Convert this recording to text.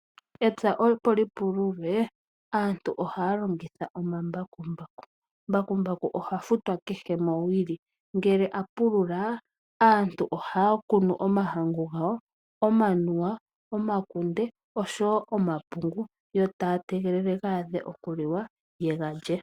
Epya opo lipululwe aantu ohaya longitha omambakumbaku. Mbakumbaku oha futwa kehe mowili. Ngele apulula aantu ohaya kunu omahangu gawo, omanuwa, omakunde osho wo omapungu yo taya tegelele gaadhe okuliwa yega lye.